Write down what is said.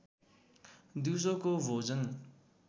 दिउँसोको भोजन